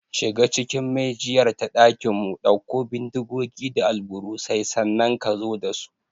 Shiga cikin maijiyar ta ɗakinmu, ɗauko bindigogi da alburusai, sannan ka zo da su!